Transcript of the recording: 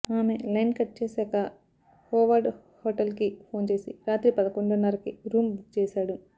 ఆమె line cut చేశాక Howard హోటల్కి ఫోన్ చేసి రాత్రి పదకొండున్నరకి రూం బుక్ చేశాడు